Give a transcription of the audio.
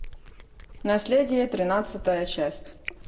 наследие тринадцатая часть